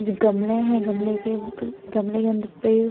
गमले हैं गमले के गमले के अंदर पेड़।